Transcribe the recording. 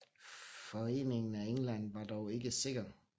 Foreningen af England var dog ikke sikker